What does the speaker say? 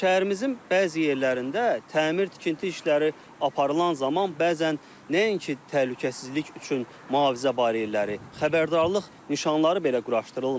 Şəhərimizin bəzi yerlərində təmir tikinti işləri aparılan zaman bəzən nəinki təhlükəsizlik üçün mühafizə bariyelləri, xəbərdarlıq nişanları belə quraşdırılmır.